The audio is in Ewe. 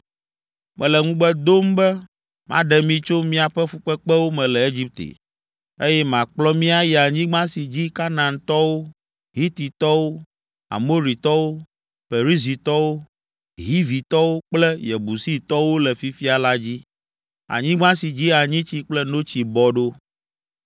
Mele ŋugbe dom be maɖe mi tso miaƒe fukpekpewo me le Egipte, eye makplɔ mi ayi anyigba si dzi Kanaantɔwo, Hititɔwo, Amoritɔwo, Perizitɔwo, Hivitɔwo kple Yebusitɔwo le fifia la dzi, anyigba si dzi anyitsi kple notsi bɔ ɖo.’